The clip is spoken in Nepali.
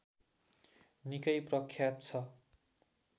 निकै प्रख्यात छ